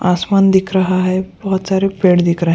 आसमान दिख रहा है बहुत सारे पेड़ दिख रहे --